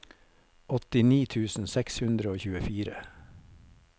åttini tusen seks hundre og tjuefire